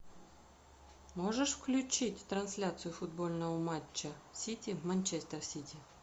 можешь включить трансляцию футбольного матча сити манчестер сити